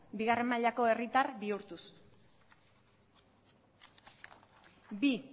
bigarren mailako herritar bihurtuz bi